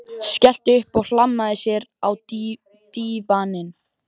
Skellti upp úr og hlammaði sér á dívaninn.